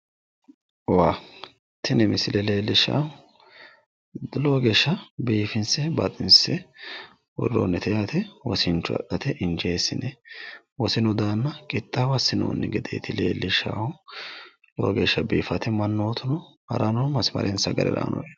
Waa. Tini misile leellishshaahu lowo geeshsha biifinse baxinse worroonnite yaate. Wosincho adhate injeessine wosinu daanna qixxaawo assinoonni gedeeti leellishshaahu. Lowo geeshsha biiffaate. Mannootu harayi noo masimarensa gede harayi no.